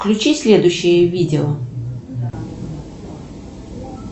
включи следующее видео